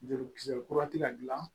Jolikisɛ kura ti ka dilan